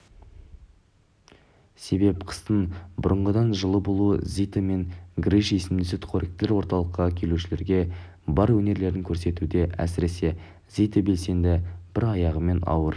себеп қыстың бұрнағыдан жылы болуы зита мен гриша есімді сүтқоректілер орталыққа келушілерге бар өнерлерін көрсетуде әсіресе зита белсенді бір аяғымен ауыр